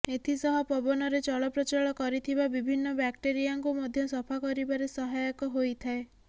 ଏଥିସହ ପବନରେ ଚଳପ୍ରଚଳ କରିଥିବା ବିଭିନ୍ନ ବ୍ୟାକ୍ଟେରିଆଙ୍କୁ ମଧ୍ୟ ସଫା କରିବାରେ ସହାୟକ ହୋଇଥାଏ